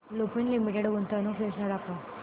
Lupin Limited गुंतवणूक योजना दाखव